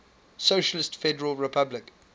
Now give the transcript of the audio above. socialist federal republic